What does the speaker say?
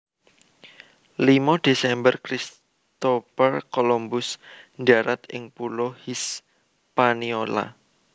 limo Desember Christopher Columbus ndharat ing pulo Hispaniola